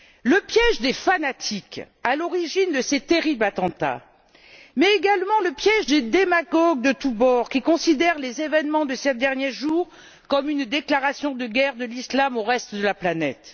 Le piège des fanatiques à l'origine de ces terribles attentats, mais également le piège des démagogues de tous bords qui considèrent les événements de ces derniers jours comme une déclaration de guerre de l'islam au reste de la planète.